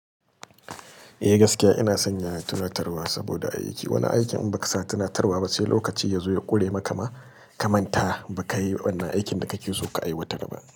Eh gaskiya ina sanya tunatarwa saboda aiki. Wani aikin in baka sa tunatarwa ba, sai lokaci ya zo ya kure maka ma, ka manta baka yi wannan aikin da kake so ka aiwatar ba.